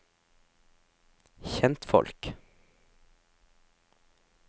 kjentfolk